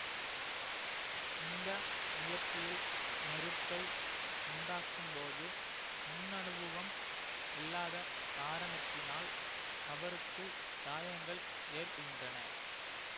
இந்த முயற்சியில் நெருப்பை உண்டாக்கும்போது முன்னனுபவம் இல்லாத காரணத்தினால் அவருக்கு காயங்கள் ஏற்படுகின்றன